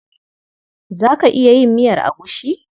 Za ka iya yin miyar agushi?